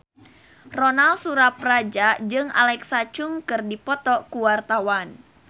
Ronal Surapradja jeung Alexa Chung keur dipoto ku wartawan